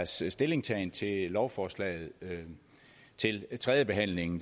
sin stillingtagen til lovforslaget ved tredjebehandlingen